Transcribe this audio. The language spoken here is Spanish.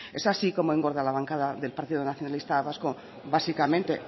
es así como engordo la bancada del partido nacionalista vasco básicamente